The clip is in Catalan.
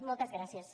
moltes gràcies